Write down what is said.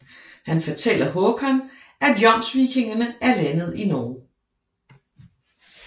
Han fortæller Hakon at jomsvikingerne er landet i Norge